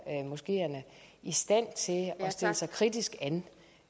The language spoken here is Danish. moskeerne i stand til at at stille sig kritisk an